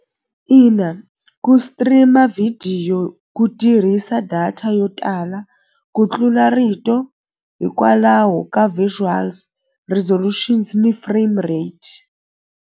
Ina ku stream-a vhidiyo ku tirhisa data yo tala ku tlula rito hikwalaho ka visuals resolutions ni frame rates.